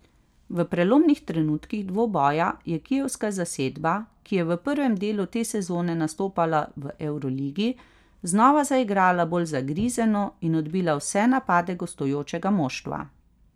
V prelomnih trenutkih dvoboja je kijevska zasedba, ki je v prvem delu te sezone nastopala v evroligi, znova zaigrala bolj zagrizeno in odbila vse napade gostujočega moštva.